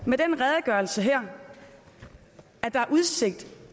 med den redegørelse her er udsigt